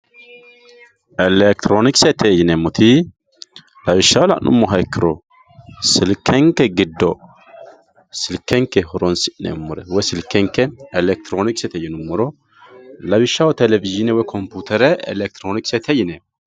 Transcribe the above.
elekitiroonikisete yineemmoti lawishshaho la'nummoha ikkiro silkenke giddo silkenke horoonsi'meemmore woy silkenke elekitiroonikisete yinummoro lawishshaho telewizhiine woy kompiitere elekitiroonikisete yineemmo.